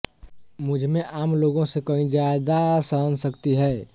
मुझमें आम लोगों से कहीं ज़्यादा सहनशक्ति है